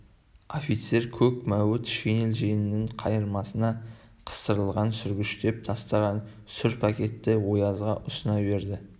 офицер көк мәуіт шинель жеңінің қайырмасына қыстырылған сүргіштеп тастаған сүр пакетті оязға ұсына берді